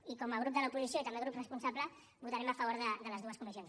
i com a grup de l’oposició i també grup responsable votarem a favor de les dues comissions